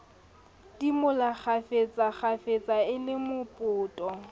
idimola kgafetsakgafetsa e le mopoto